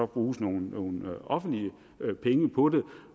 bruges nogle offentlige penge på det